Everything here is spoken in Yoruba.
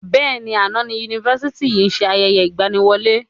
Bẹ́ẹ̀ni, àná ni Yunifásítì yìí ṣe ayẹyẹ ìgbàníwọlé